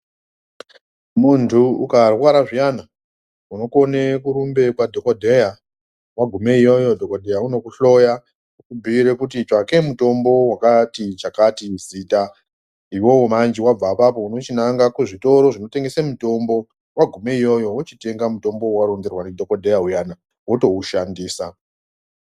Muntu ukarwara zviyani unokone kurumbe kwadhokodheya wagume iyoyo dhokodheya unokuhloya okubhuira kuti tsvake mutombo wakati, chakati muzita. Iwewe manji wabve apapo unochinange kuzvitoro zvinotengese mitombo, wagume iyoyo wochitenga mutombo waunenge waronzerwa ndidhokodheya uyani wotoushandisa.